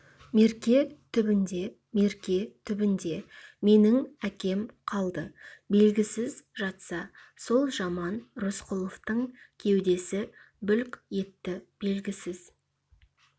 мерке түбінде мерке түбінде менің әкем қалды белгісіз жатса сол жаман рысқұловтың кеудесі бүлк етті белгісіз